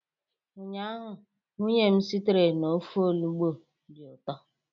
ụnyaahụ, nwunye m sitere ofe onugbu dị ụtọ